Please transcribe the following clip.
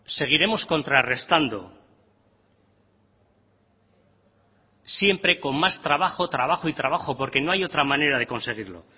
seguiremos contrarrestando siempre con más trabajo trabajo y trabajo porque no hay otra manera de conseguirlo